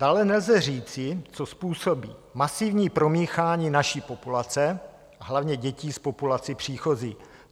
Dále nelze říci, co způsobí masivní promíchání naší populace a hlavně dětí s populací příchozí.